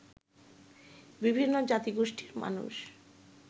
বিভিন্ন জাতিগোষ্ঠীর মানুষ